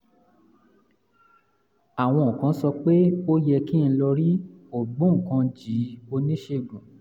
àwọn kan sọ pé ó yẹ kí n lọ rí ògbóǹkangí oníṣègùn